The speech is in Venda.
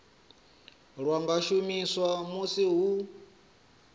lwa nga shumiswa musi hu